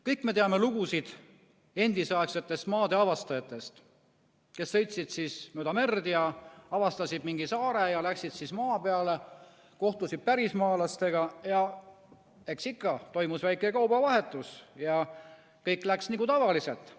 Kõik me teame lugusid endisaegsetest maadeavastajatest, kes sõitsid mööda merd ja avastasid mingi saare, läksid maale, kohtusid pärismaalastega ja eks ikka toimus väike kaubavahetus ja kõik läks nagu tavaliselt.